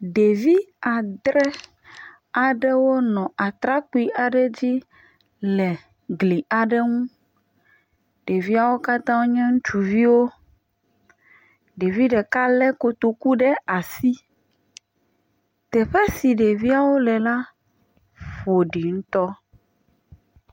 ɖevi adre aɖewo wónɔ atrakpi aɖe dzi le gli aɖe ŋu ɖeviawo katã wonye ŋutsuviwo ɖevi ɖeka le kotoku ɖe asi teƒe si ɖeviawo le la ƒoɖi ŋutɔ